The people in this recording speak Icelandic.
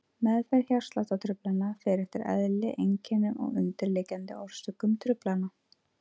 Meðferð hjartsláttartruflana fer eftir eðli, einkennum og undirliggjandi orsökum truflana.